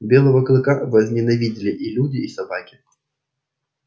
белого клыка возненавидели и люди и собаки